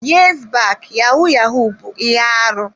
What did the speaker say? Years back yahoo yahoo bụ ihe arụ.